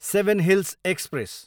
seven Hills express